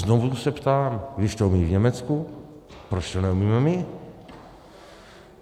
Znovu se ptám: Když to umějí v Německu, proč to neumíme my?